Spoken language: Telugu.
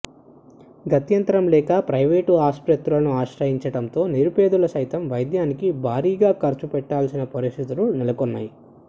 గత్యంతరం లేక ప్రైవేట్ ఆసుపత్రులను ఆశ్రయించటంతో నిరుపేదలు సైతం వైద్యానికి భారీగా ఖర్చు పెట్టాల్సిన పరిస్థితులు నెలకొన్నాయి